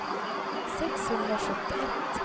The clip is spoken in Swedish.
sexhundrasjuttioett